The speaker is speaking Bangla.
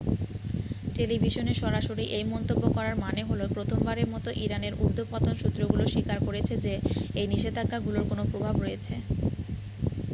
টেলিভিশনে সরাসরি এই মন্তব্য করার মানে হলো প্রথমবারের মতো ইরানের ঊর্ধ্বতন সূত্রগুলো স্বীকার করেছে যে এই নিষেধাজ্ঞাগুলোর কোন প্রভাব রয়েছে